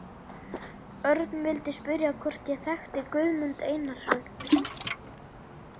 Örn vildi spyrja hvort ég þekkti Guðmund Einarsson.